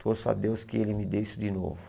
Torço a Deus que ele me dê isso de novo.